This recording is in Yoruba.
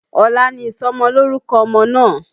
Ọ̀la ni ìsọmọlórúkọ ọmọ náà